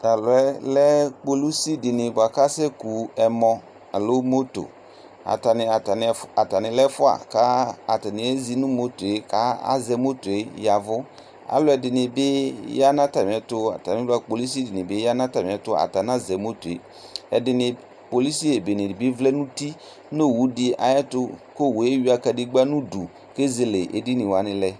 Tʊ ɔlɩɛ lɛ kpolʊsi di ku ɔkaseku moto atani lɛ ɛfua ku ezi nu moto k azɛ moto yavu alu ɛdini bi yanu atami ɛtu anazɛ moto kpolʊcɩ dini vlɛ nu uti nu owu di ayu uti luʊ owu eya kadegba nʊ ʊdʊ kɛ ezele edinyi wani lɛ